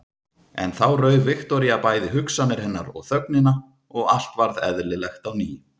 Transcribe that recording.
En þá rauf Viktoría bæði hugsanir hennar og þögnina og allt varð eðlilegt á ný.